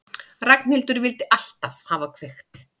Ragnhildur vildi alltaf hafa kveikt.